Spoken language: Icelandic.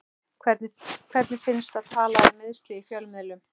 Hvernig finnst að tala um meiðsli í fjölmiðlum?